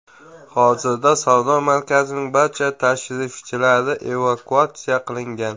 Hozirda savdo markazining barcha tashrifchilari evakuatsiya qilingan.